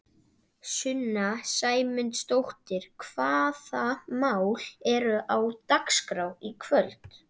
Sunna Sæmundsdóttir: Hvaða mál eru á dagskrá í kvöld?